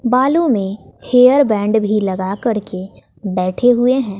बालों में hair band भी लगा करके बैठे हुए हैं।